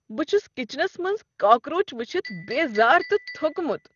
بہٕ چھس کچنس منٛز کاکروچ ؤچھتھ بیزار تہٕ تھوٚکمُت۔